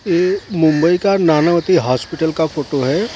ये मुंबई का नानावती हॉस्पिटल का फोटो हैं ।